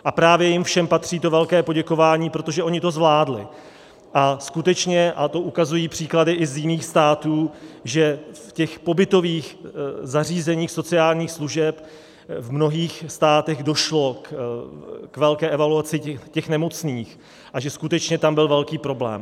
A právě jim všem patří to velké poděkování, protože oni to zvládli, a skutečně, a to ukazují příklady i z jiných států, že v těch pobytových zařízeních sociálních služeb v mnohých státech došlo k velké evaluaci těch nemocných a že skutečně tam byl velký problém.